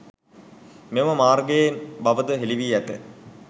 මෙම මාර්ගයෙන් බවද හෙළිවී ඇත.